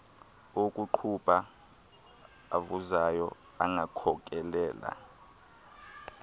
okuqubha avuzayo angakhokelela